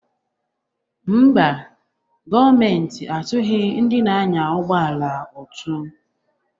Mba, gọọmentị atughị ndị na-anya ụgbọ ala ụtụ